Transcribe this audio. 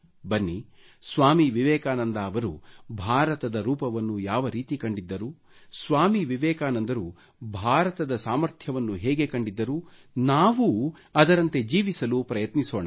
ಬನ್ನಿ ಸ್ವಾಮಿ ವಿವೆಕಾನಂದ ಅವರು ಭಾರತದ ರೂಪವನ್ನು ಯಾವ ರೀತಿ ಕಂಡಿದ್ದರು ಸ್ವಾಮಿ ವಿವೆಕಾನಂದರು ಭಾರತದ ಸಾಮರ್ಥ್ಯವನ್ನು ಹೇಗೆ ಕಂಡಿದ್ದರು ನಾವು ಅದರಂತೆ ಜೀವಿಸಲು ಪ್ರಯತ್ನಿಸೋಣ